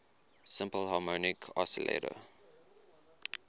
simple harmonic oscillator